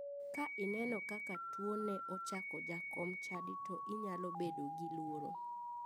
Ka ineno kaka tuo ne ochako jakom chadi to inyalo bedo gi luoro